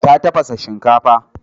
Ta tafasa shinkafa.